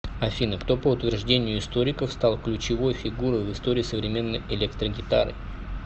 афина кто по утверждению историков стал ключевой фигурой в истории современной электрогитары